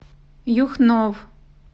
юхнов